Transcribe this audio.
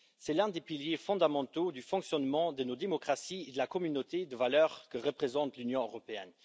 C'est l'un des piliers fondamentaux du fonctionnement de nos démocraties et de la communauté de valeurs que représente l'Union européenne.